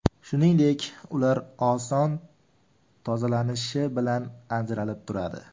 Shuningdek, ular oson tozalanishi bilan ajaralib turadi.